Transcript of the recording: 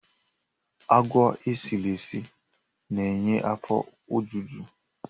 Agwa esiri esi na-enye afọ ojuju